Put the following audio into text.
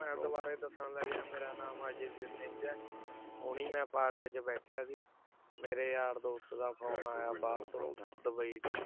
ਮੈਂ ਦੁਬਾਰੇ ਦੱਸਣ ਲੱਗਿਆ ਮੇਰਾ ਨਾਮ ਅਜੈ ਵੀਰ ਸਿੰਘ ਹੈ ਹੁਣੀ ਮੈਂ park 'ਚ ਬੈਠਿਆ ਸੀ, ਮੇਰੇ ਯਾਰ ਦੋਸਤ ਦਾ phone ਆਇਆ ਬਾਹਰ ਤੋਂ ਡਬਈ ਤੋਂ।